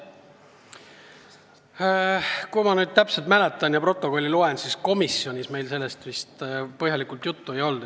Kui ma õigesti mäletan, siis komisjonis meil sellest põhjalikult juttu ei olnud.